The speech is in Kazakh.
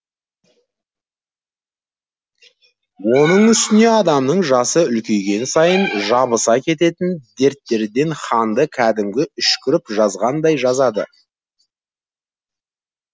оның үстіне адамның жасы үлкейген сайын жабыса кететін дерттерден ханды кәдімгі үшкіріп жазғандай жазады